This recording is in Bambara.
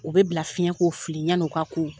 U bɛ bila fiɲɛ ko fili yanni o k'a ko.